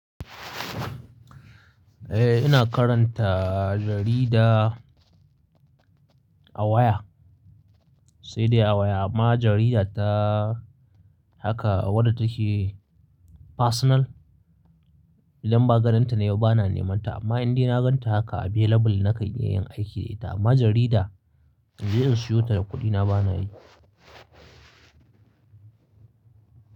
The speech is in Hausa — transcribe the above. Eh ina karanta jarida a waya, sai dai a waya amma jarida ta haka wada take personal. Idan ba gadonta ne ba bana nemanta amma in dai na ganta haka available na kai iya yin aiki da ita. Amma jarida in je in siyo ta da kuɗina bana yi.